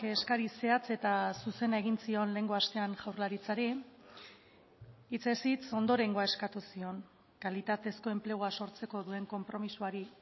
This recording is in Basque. eskari zehatz eta zuzena egin zion lehengo astean jaurlaritzari hitzez hitz ondorengoa eskatu zion kalitatezko enplegua sortzeko duen konpromisoari